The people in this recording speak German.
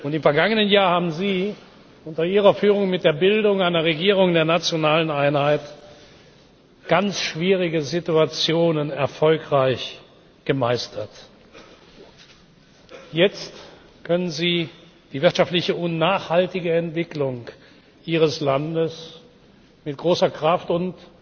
Im vergangenen Jahr haben Sie unter Ihrer Führung mit der Bildung einer Regierung der nationalen Einheit ganz schwierige Situationen erfolgreich gemeistert. Jetzt können Sie die wirtschaftliche und nachhaltige Entwicklung Ihres Landes mit großer Kraft und